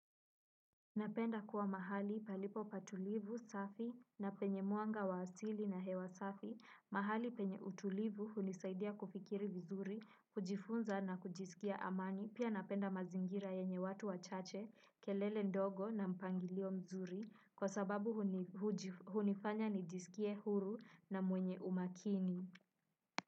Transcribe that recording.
Napenda kuwa mahali palipo pa tulivu, safi na penye mwanga wa asili na hewa safi, mahali penye utulivu hunisaidia kufikiri vizuri, kujifunza na kujisikia amani, pia napenda mazingira yenye watu wachache, kelele ndogo na mpangilio mzuri, kwa sababu hunifanya nijisikie huru na mwenye umakini.